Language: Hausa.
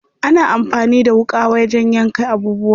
Ana amfani da wuƙa wajen yanka abubuwa.